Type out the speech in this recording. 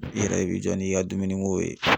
I yɛrɛ i b'i jɔ n'i ka dumuni ko ye.